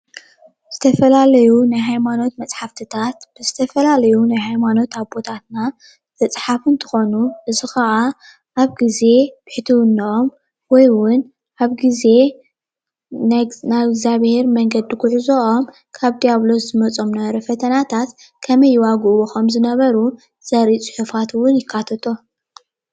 ዝተፈላለዩ ናይ ሃይማኖት መፅሓፍቲታት ብዝተፈላለዩ ናይ ሃይማኖት ኣቦታትና ዝፀሓፉ እንትኮኑ እዚ ኸኣ ኣብ ግዘ ብሕትዉንኦም ወይ እዉን ኣብ ግዘ ናብ እግዝኣቢሄር መንገዲ ጉዕዞም ካብ ዲያብሎስ ዝመፆም ዝነበረ ፈተናታት ከመይ ይዋግእዎ ከምዝነበሩ ዘርኢ ፅሑፋት እዉን ይካተቶ።